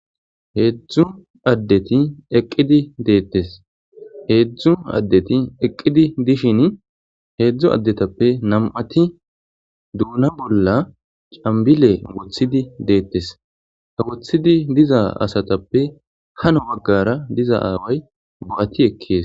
heedzdzu addeti eqqidi deettes heedzdzu addeti eqqidi dishin heedzdzu addetappe nam'ati duuna bolla cambile wothidi deettes ha wothidi diza asatappe hano waggara diza aaway bo'ati ekkees